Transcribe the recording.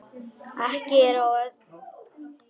Ekki ber á öðru